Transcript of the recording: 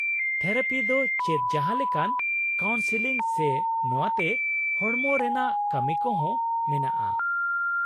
-Therapy ᱫᱚ ᱪᱮᱫ ᱡᱟᱦᱟᱸ ᱞᱮᱠᱟᱱ ᱠᱟᱣᱩᱱᱥᱤᱞᱤᱝ ᱥᱮ ᱱᱚᱶᱟᱛᱮ ᱦᱚᱲᱢᱚ ᱨᱮᱱᱟᱜ ᱠᱟᱢᱤ ᱠᱚ ᱦᱚᱸ ᱢᱮᱱᱟᱜᱼᱟ ?